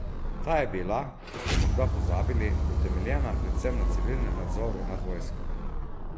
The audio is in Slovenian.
Ta je bila, če ste morda pozabili, utemeljena predvsem na civilnem nadzoru nad vojsko.